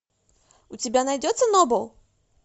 у тебя найдется нобл